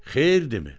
Xeyir dimi?